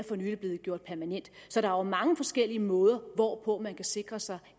for nylig er blevet gjort permanent så der er mange forskellige måder hvorpå man kan sikre sig